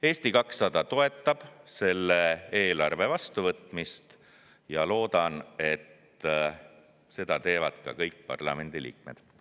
Eesti 200 toetab selle eelarve vastuvõtmist ja ma loodan, et seda teevad kõik parlamendi liikmed.